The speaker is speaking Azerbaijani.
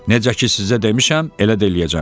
Necə ki sizə demişəm, elə də eləyəcəm.